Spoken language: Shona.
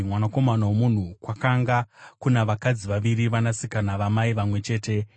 “Mwanakomana womunhu, kwakanga kuna vakadzi vaviri, vanasikana vamai vamwe chete.